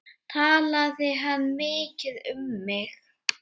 Talaði hann mikið um mig?